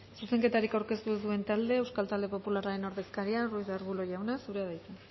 zuzenketarik aurkeztu ez duen taldea euskal talde popularraren ordezkaria ruiz de arbulo jauna zurea da hitza